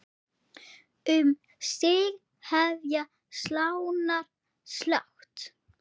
Um sig hefja slánar slátt.